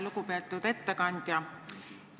Lugupeetud ettekandja!